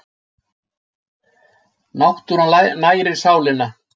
Náttúran nærir sálina.